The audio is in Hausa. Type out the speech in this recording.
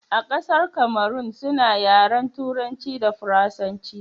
a ƙasar Kamarun suna yaren turanci da faransanci